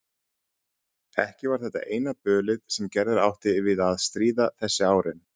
Ekki var þetta eina bölið sem Gerður átti við að stríða þessi árin.